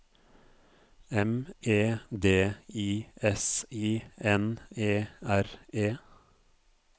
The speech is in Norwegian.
M E D I S I N E R E